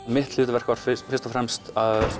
mitt hluverk var fyrst og fremst